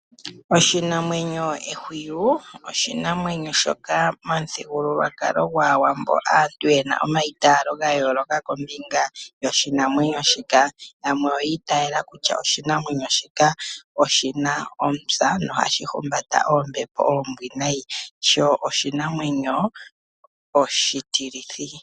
Oshinamwenyo ehwiyu oshinamwenyo shoka momuthigululwakalo gwaawambo aantu yena omaitaalo ga yooloka kombinga yoshinamwenyo shika. Yamwe oyi itala kutya oshinamwenyo shika oshina omupya nohashi humbata oombepo oombwinayi sho oshinamwenyo oshitilithi.